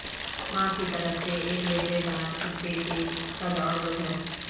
ماہ کی طرف سے ایک لیبرے ڈار کتے کے قد اور وزن